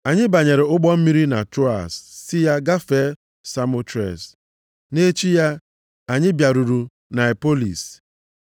Anyị banyere ụgbọ mmiri na Troas sị ya gafee Samotres. Nʼechi ya, anyị bịaruru Niapolis.